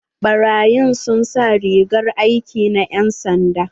Baraƴin sun sa rigar aiki na yan'sanda.